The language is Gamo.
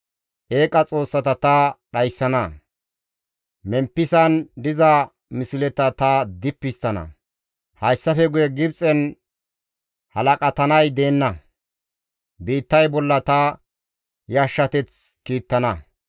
«Eeqa xoossata ta dhayssana; Memppisan diza misleta ta dippi histtana; hayssafe guye Gibxen halaqatanay deenna; biittay bolla ta yashshateth kiittana.